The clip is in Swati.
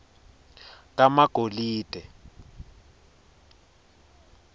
kamagolide